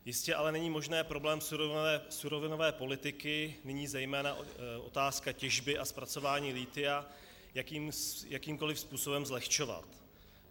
Jistě ale není možné problém surovinové politiky, nyní zejména otázku těžby a zpracování lithia, jakýmkoliv způsobem zlehčovat.